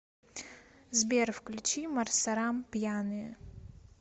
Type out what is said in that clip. сбер включи марсарам пьяные